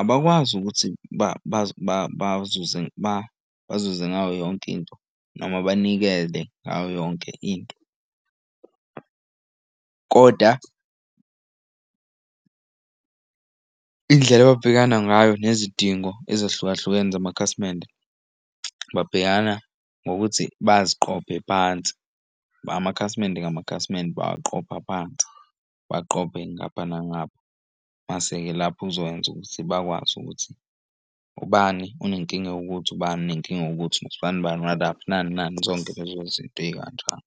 abakwazi ukuthi bazuze bazuze ngayo yonke into noma banikele ngayo yonke into. Kodwa indlela ababhekana ngayo nezidingo ezahlukahlukene zamakhasimende babhekana ngokuthi baziqophe phansi ngamakhasimende ngamakhasimende baqopha phansi baqophe ngapha nangapha. Mase-ke lapho uzokwenza ukuthi bakwazi ukuthi ubani unenkinga ewukuthi ubani nenkinga ewukuthi nosibanibani nani nani. Zonke lezo zinto ey'kanjalo.